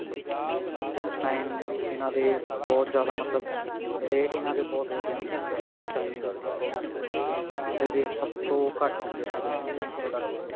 ਉਸ time ਇਹਨਾ ਦੇ ਬਹੁਤ ਜਿਆਦਾ ਮਤਲਬ ਰੇਟ ਇਹਨਾ ਦੇ ਬਹੁਤ ਵਧੀਆ ਹੁੰਦੇ ਸੀ ਕੀ ਜੋ ਵੀ Chinese ਆਪਣਾ product ਹੈ ਉਹਦੇ ਰੇਟ ਸਭ ਤੋਂ ਘੱਟ ਹੁੰਦੇ ਸੀ indian product ਨਾਲੋ